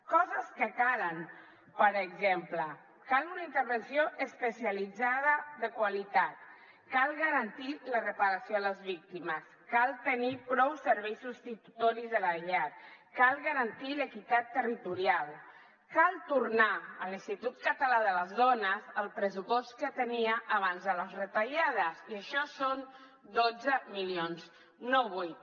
coses que calen per exemple cal una intervenció especialitzada de qualitat cal garantir la reparació a les víctimes cal tenir prou serveis substitutoris de la llar cal garantir l’equitat territorial cal tornar a l’institut català de les dones el pressupost que tenia abans de les retallades i això són dotze milions no vuit